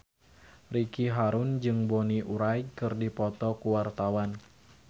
Ricky Harun jeung Bonnie Wright keur dipoto ku wartawan